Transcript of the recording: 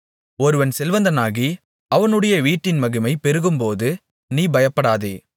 ஒருவன் செல்வந்தனாகி அவனுடைய வீட்டின் மகிமை பெருகும்போது நீ பயப்படாதே